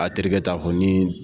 A terikɛ ta fɔ ni